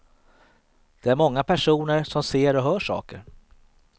Det är många personer som ser och hör saker.